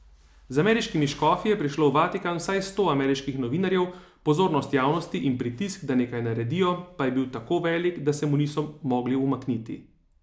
Z ameriškimi škofi je prišlo v Vatikan vsaj sto ameriških novinarjev, pozornost javnosti in pritisk, da nekaj naredijo, pa je bil tako velik, da se mu niso mogli umakniti.